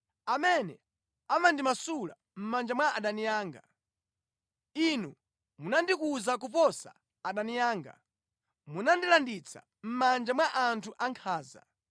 amene amandimasula mʼmanja mwa adani anga. Inu munandikuza kuposa adani anga; munandilanditsa mʼmanja mwa anthu ankhanza.